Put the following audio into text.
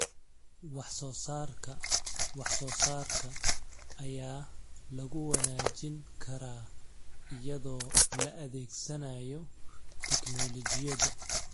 Wax-soo-saarka wax-soo-saarka ayaa lagu wanaajin karaa iyadoo la adeegsanayo tignoolajiyada.